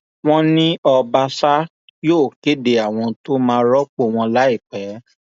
wọn ní ọbaṣà yóò kéde àwọn tó máa rọpò wọn láìpẹ